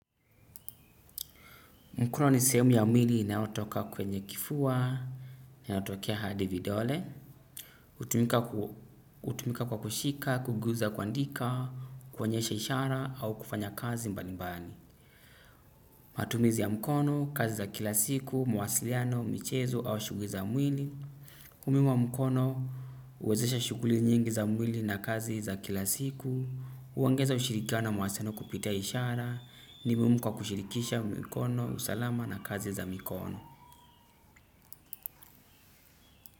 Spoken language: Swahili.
Mkono ni sehemu ya mwili inayotoka kwenye kifua, inayotokea hadi vidole. Hutumika kwa kushika, kuguza kwandika, kuonyesha ishara au kufanya kazi mbali mbali. Matumizi ya mkono, kazi za kila siku, mawasiliano, michezo au shughuli za mwili. Umuhimu wa mkono, uwezesha shughuli nyingi za mwili na kazi za kila siku. Huongeza ushirikiano mawasiliano kupitia ishara. Ni muhimu kwa kushirikisha mikono. Usalama na kazi za mikono.